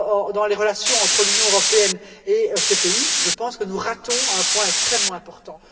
dans les relations entre l'Union européenne et ces pays, je pense que nous ratons un point extrêmement important.